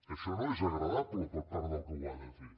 això no és agradable per part del que ho ha de fer